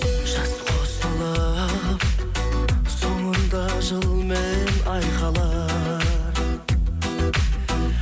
жас қосылып соңында жыл мен ай қалар